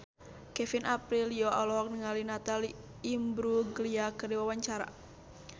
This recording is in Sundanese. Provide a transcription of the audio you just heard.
Kevin Aprilio olohok ningali Natalie Imbruglia keur diwawancara